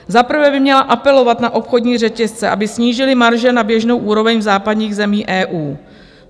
Za prvé by měla apelovat na obchodní řetězce, aby snížily marže na běžnou úroveň v západních zemích EU.